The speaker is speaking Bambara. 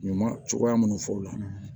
Ɲaman cogoya minnu fɔ u la